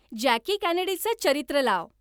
Jackie केनेडीचं चरित्र लाव.